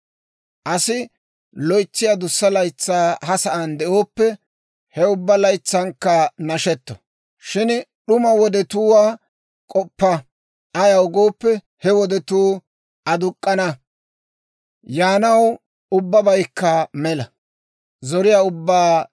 Asi loytsi adussa laytsaa ha sa'aan de'ooppe, he ubbaa laytsankka nashetto. Shin d'uma wodetuwaa k'oppa. Ayaw gooppe, he wodetuu aduk'k'ana. Yaanaw ubbabaykka mela.